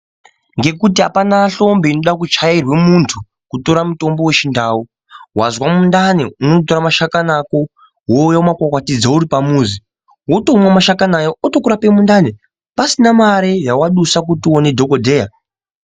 Ngekuti apana hlombi inoda kuchairwe muntu kutora mutombo wechindau wazwa mundani unotore mushakati ako wouye makomboti dzo uri pamuzi wotomwa mashakani aya otokurape mundani pasina mare yawadusa kuti uone dhokodheya.